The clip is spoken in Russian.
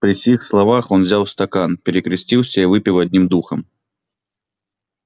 при сих словах он взял стакан перекрестился и выпил одним духом